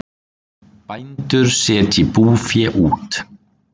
Bændur setji búfé út